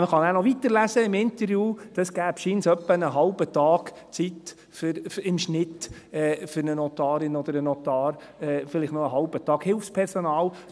Man kann dann im Interview noch weiterlesen, es gebe scheinbar im Schnitt ungefähr einen halben Tag Arbeit für eine Notarin oder einen Notar, vielleicht noch einen halben Tag für das Hilfspersonal.